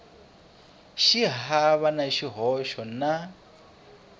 xi hava na xihoxo na